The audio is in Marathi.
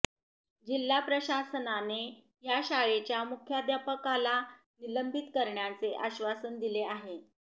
जिल्हा प्रशासनाने या शाळेच्या मुख्याध्यापकाला निलंबित करण्याचे आश्वासन दिले आहे